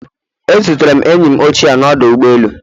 E zutere enyi m ochie n'ọdụ ụgbọ elu